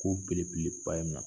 ko belebele ba ye na